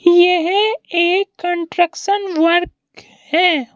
यह एक construction work है।